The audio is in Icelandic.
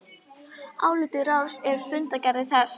Álit ráðsins er í fundargerð þess